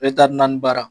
Ale tari naani baara